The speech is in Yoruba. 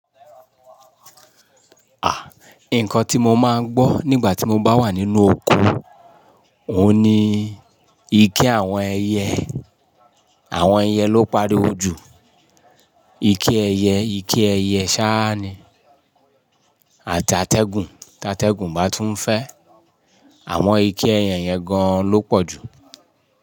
Nǹkan tí mo máa ń gbọ́ nígbà tí mo bá wà nínú oko òun ni ike àwọn ẹyẹ, àwọn ẹyẹ ló ń pariwo jù. Ike ẹyẹ, ike ẹyẹ sáa ni àti atẹ́gùn, tí atẹ́gùn bá tún fẹ́. Àwọn ike ẹyẹ yẹn gan-an ló pọ̀ jù.